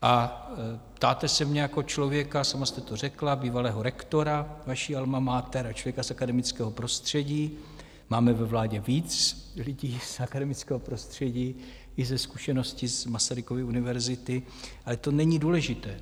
A ptáte se mě jako člověka, sama jste to řekla, bývalého rektora vaší alma mater a člověka z akademického prostředí, máme ve vládě víc lidí z akademického prostředí i se zkušeností z Masarykovy univerzity, ale to není důležité.